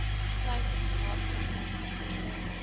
insluitend melkdepots botter